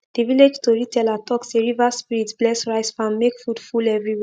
the village toriteller talk say river spirits bless rice farm make food full everywhere